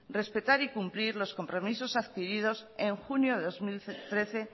respetar y cumplir los compromisos adquirido en junio de dos mil trece